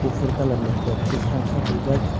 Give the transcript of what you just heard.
kufur kalar ni flat kakrang safuljak.